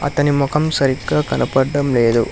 అతని ముఖం సరిగ్గా కనపడటం లేదు.